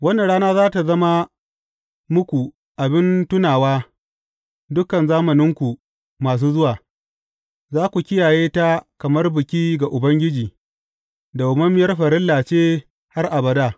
Wannan rana za tă zama muku abin tunawa dukan zamananku masu zuwa, za ku kiyaye ta kamar biki ga Ubangiji, dawwammamiyar farilla ce har abada.